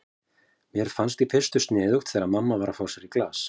Mér fannst í fyrstu sniðugt þegar mamma var að fá sér í glas.